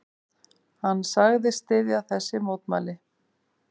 Hann sagðist styðja þessi mótmæli.